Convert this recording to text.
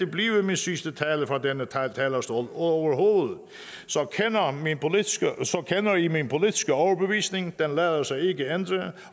blive min sidste tale fra denne talerstol overhovedet så kender i min politiske overbevisning den lader sig ikke ændre